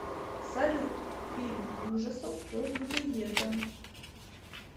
салют фильм ужасов про людоеда